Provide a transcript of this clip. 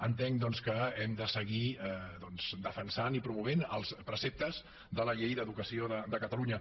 entenc doncs que hem de seguir defensant i promovent els preceptes de la llei d’educació de catalunya